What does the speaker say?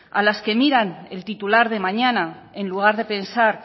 a las que miran el titular de mañana en lugar de pensar